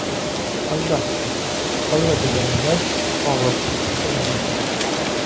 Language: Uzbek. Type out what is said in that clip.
Albatta, holva degani bilan og‘iz chuchimaydi.